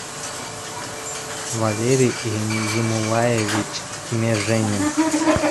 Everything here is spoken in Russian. валерий емулаевич меженин